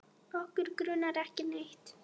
Okkur grunar ekki neitt.